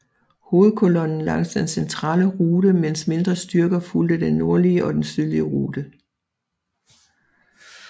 Hovedkolonnen langs den centrale rute mens mindre styrker fulgte den nordlige og den sydlige rute